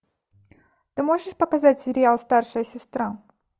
ты можешь показать сериал старшая сестра